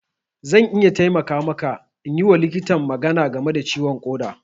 Zan iya taimaka maka in yi wa likitan magana game da ciwon ƙoda.